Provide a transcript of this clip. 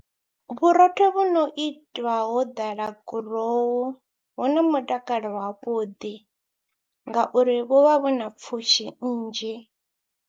Vhurotho vhu no itwa ho ḓala gurowu vhu na mutakalo wavhuḓi ngauri vhu vha vhu na pfhushi nnzhi.